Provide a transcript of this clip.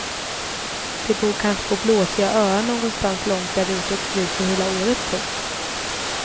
De bor kanske på blåsiga öar någonstans långt där ute och fryser hela året. punkt